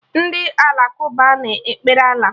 Ndị Alakụba na-ekpere Allah